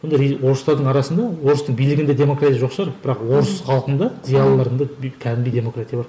орыстардың арасында орыстың билігінде демократия жоқ шығар бірақ орыс халқында зиялыларында кәдімгідей демократия бар